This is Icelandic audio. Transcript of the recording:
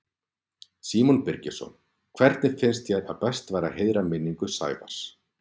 Símon Birgisson: Hvernig finnst þér að best væri að heiðra minningu Sævars?